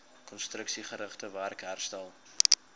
konstruksiegerigte werk herstel